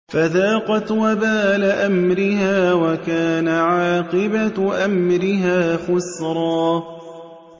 فَذَاقَتْ وَبَالَ أَمْرِهَا وَكَانَ عَاقِبَةُ أَمْرِهَا خُسْرًا